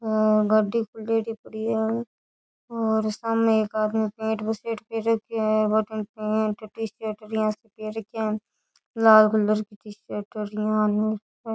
आ गाड़ी खुलेड़ी पड़ी है और सामने एक आदमी पेंट बुसेट पहर रखयो है बठीने पेंट टीशर्ट यान पहर रख्यो है लाल कलर की टीशर्ट यान --